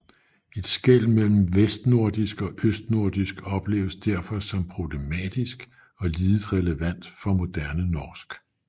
Et skel mellem vestnordisk og østnordisk opleves derfor som problematisk og lidet relevant for moderne norsk